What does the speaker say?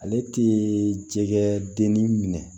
Ale tɛ jɛgɛ denni minɛ